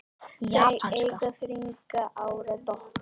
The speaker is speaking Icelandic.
Þau eiga þriggja ára dóttur.